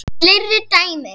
Fleiri dæmi